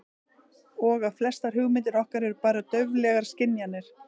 Og að flestar hugmyndir okkar eru bara dauflegar skynjanir.